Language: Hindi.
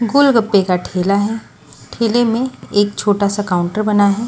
गोलगप्पे का ठेला है ठेले में एक छोटा सा काउंटर बना है।